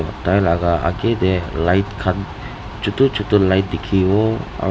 Tai laga age tey light khan chutu chutu light dekhi bo aro--